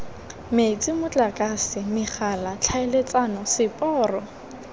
metsi motlakase megala tlhaeletsano seporo